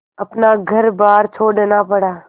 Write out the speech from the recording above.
अपना घरबार छोड़ना पड़ा